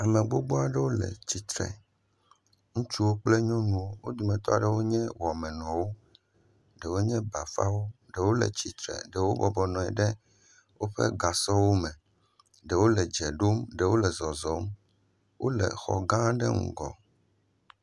Ame gbogbo aɖewo le tsitre. Ŋutsuwo kple nyɔnuwo. Wo dometɔ aɖewo nye wɔmenɔwo. Ɖewo nye bafaɖo, ɖewo le tsitre, ɖewo bɔbɔnɔ anyi ɖe woƒe gasɔwo me, ɖewo le dze ɖom, ɖewo le zɔzɔm. wo le xɔ gã aɖe ŋgɔ.